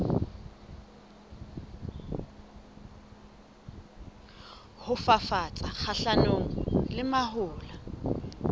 ho fafatsa kgahlanong le mahola